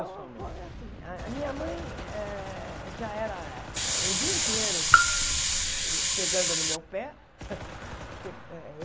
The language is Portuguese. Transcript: Então, é assim a minha mãe eh já era o dia inteiro pegando no meu pé. pe ah eh